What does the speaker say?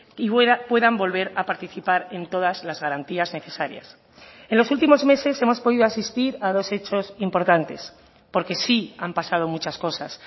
y puedan volver a participar en todas las garantías necesarias en los últimos meses hemos podido asistir a dos hechos importantes porque sí han pasado muchas cosas